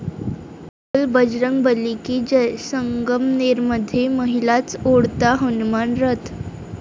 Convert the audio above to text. बोल बजरंग बली की जय, संगमनेरमध्ये महिलाच ओढता हनुमान रथ!